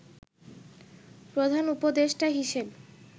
প্রধান উপদেষ্টা হিসেব